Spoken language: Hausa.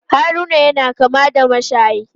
Haruna yana kama da mashayi.